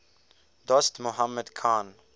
dost mohammad khan